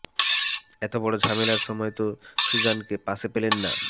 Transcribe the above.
এত বড় ঝামেলার সময় তো সুজানকে পাশে পেলেন না